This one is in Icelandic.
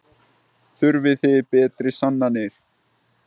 Þurfið þið betri sannanir?